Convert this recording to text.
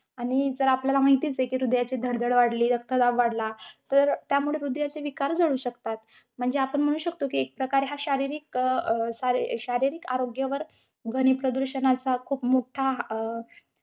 आणि जर आपल्याला माहितीच आहे, हृदयाची धडधड वाढली, रक्तदाब वाढला, तर त्यामुळे हृदयाचे विकार जडू शकतात. म्हणजे आपण म्हणू शकतो कि एकप्रकारे, हा शारीरिक अं अं शरी~ शारीरिक आरोग्यावर ध्वनिप्रदूषणाचा खूप मोठा अं